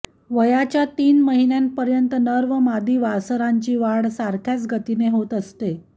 वयाच्या तीन महिन्यांपर्यंत नर व मादी वासरांची वाढ सारख्याच गतीने होत असते